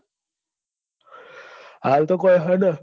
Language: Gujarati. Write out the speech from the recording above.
હાલ તો કઈ હેડે